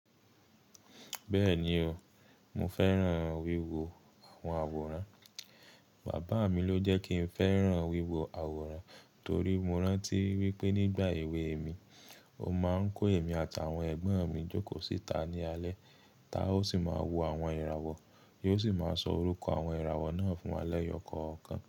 Bẹ́ẹ̀ni o, mo fẹ́ràn wíwo àwọn àwòrán. Bàbá mi ló jẹ́ kí n fẹ́ràn wíwo àwòrán torí mo rántí wípé nígbà èwe mi, o máa ń kó èmi àti àwọn ẹ̀gbọ́n mi jókòó síta ní alẹ́, táa ó sì máa wo àwọn ìràwọ̀, yóò sì máa sọ orúkọ àwọn ìràwọ̀ náà fún wa lẹ́yọ̀ kọ̀ọ̀kan.